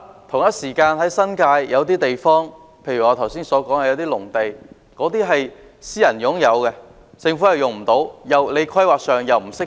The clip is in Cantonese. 同時，新界有些土地例如我剛才提到的農地屬私人擁有，政府無法使用，而在規劃上又未予以釋放。